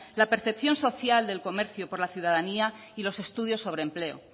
la percepción social del comercio por la ciudadanía y los estudios sobre empleo